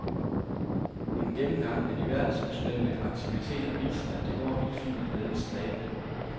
En gennemgang af de verdensomspændende aktiviteter viser, at det går helt fint med denne stræben.